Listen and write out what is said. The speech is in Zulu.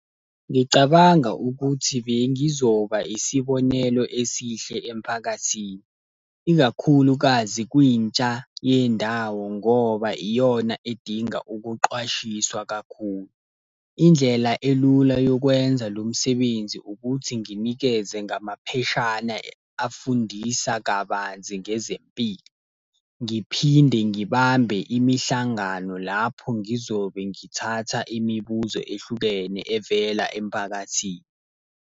Ngicabanga ukuthi bengizoba isibonelo esihle emphakathini. Ikakhulukazi kwintsha yendawo ngoba iyona edinga ukuqwashiswa kakhulu. Indlela elula yokwenza lo msebenzi ukuthi nginikeze ngamapheshana afundisa kabanzi ngezempilo. Ngiphinde ngibambe imihlangano lapho ngizobe ngithatha imibuzo ehlukene evela emphakathini.